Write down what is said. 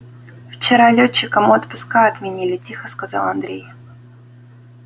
вчера лётчикам отпуска отменили тихо сказал андрей